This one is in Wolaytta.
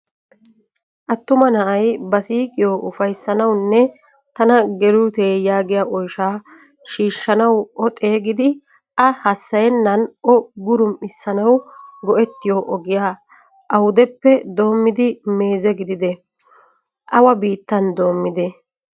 Attuma na"ay ba siiqiyo uffayssanawunne tana gelute yaagiyaa oyshsha shiishanawu o xeegidi a hasayenan o gurum"isanawu goettiyo ogiyaa awudeppe dommidi meeze gidide? Awa biittan dommide?